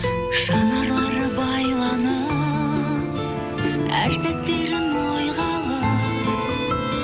жанарлары байланып әр сәттерін ойға алып